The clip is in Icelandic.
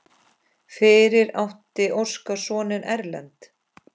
Fyrir átti Óskar soninn Erlend.